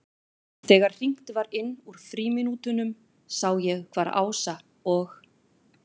Þegar hringt var inn úr frímínútunum sá ég hvar Ása og